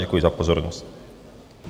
Děkuji za pozornost.